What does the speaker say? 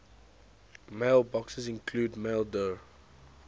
mailboxes include maildir